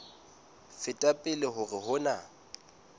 feta pele hore ho na